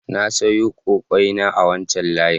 Na sayo ƙwaiƙwayena a wancan layin.